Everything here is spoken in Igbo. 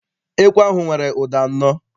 Ekwe ahụ nwere ụda anọ.